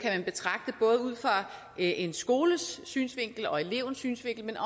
kan en skoles synsvinkel og elevens synsvinkel men